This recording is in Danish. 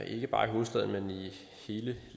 ikke bare i hovedstaden men i hele